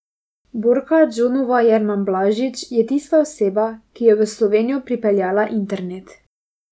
Borka Džonova Jerman Blažič je tista oseba, ki je v Slovenijo pripeljala internet.